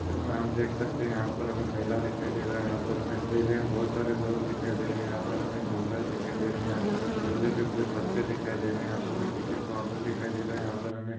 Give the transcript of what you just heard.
मे हम देख सकते है यहाँ पर हमे मेला दिखाई दे रहा है। यहाँ पर हमे मेले मे बहुत सारे लोग दिखाई दे रहे है। यहाँ पर हमे झूला दिखाई दे रहा है। यहाँ पर हम झूले पे कुछ बच्चे दिखाई दे रहे है। यहाँ पर हमे टिकिट काउंटर दिखाई दे रहा है। यहाँ पर हमे--